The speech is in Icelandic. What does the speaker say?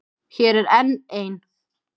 Hér er enn ein.